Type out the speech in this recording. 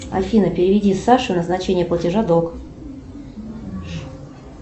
афина переведи саше назначение платежа долг